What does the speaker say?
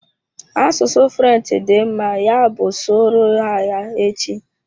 Asụsụ French dị mma, ya bụ sụọ ro ha ya echi!